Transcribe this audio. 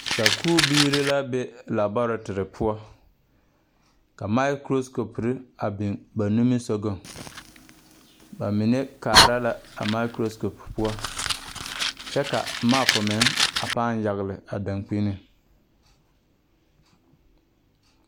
Sakubiire la be laɔɔreterre poɔ ka mikroskoperre a biogas nimisugɔŋ ba mine kaara la a mikroskope poɔ kyɛ ka a mapu meŋ a pãã yagle a dankpinIŋ.